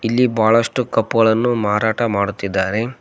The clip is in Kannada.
ಇಲ್ಲಿ ಬಹಳಷ್ಟು ಕಪ್ ಗಳನ್ನು ಮಾರಾಟ ಮಾಡುತ್ತಿದ್ದಾರೆ.